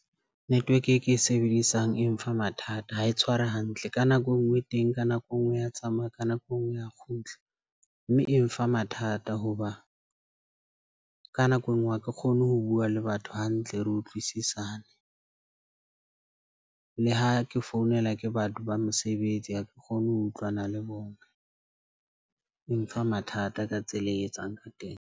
Network e ke e sebedisang e mfa mathata ha e tshware hantle ka nako e nngwe teng. Ka nako e nngwe ya tsamaya ka nako e nngwe ya kgutla mme e mfa mathata. Ho ba ka nako e nngwe ha ke kgone ho bua le batho hantle, re utlwisisane le ha ke founela ke batho ba mosebetsi ha ke kgone ho utlwana le bona. E mfa mathata ka tsela e etsang ka teng.